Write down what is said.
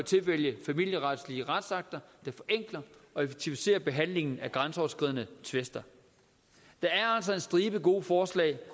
tilvælger familieretlige retsakter der forenkler og effektiviserer behandlingen af grænseoverskridende tvister der er altså en stribe gode forslag